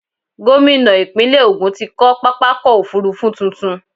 Gómìnà ìpínlẹ̀ Ògun ti kọ́ pápákọ̀-òfurufú tuntun.